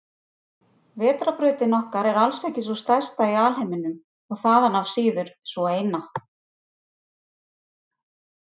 Vetrarbrautin okkar er alls ekki sú stærsta í alheiminum og þaðan af síður sú eina.